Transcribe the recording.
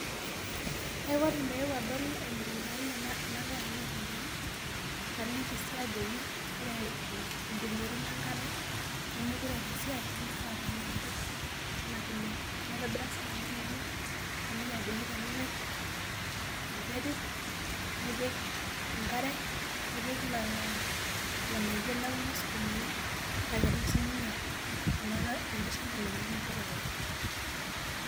Kaipotu meeu adol emukunda aai enagira aikunaa, naliki sii ajoki ore ljirikieti lenkare lemekute eata esiai nimifaa peenangari anaa file naitobira sinanu lainiei naliki ajoki tenipik enterit nipik enkare, nipik lolo nganayio lekuna sukumani na ketum sininye orkiti shamba lenye lijo olalai.